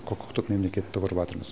құқықтық мемлекетті құрыватырмыз